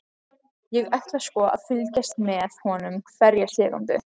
Ég ætla sko að fylgjast með honum hverja sekúndu.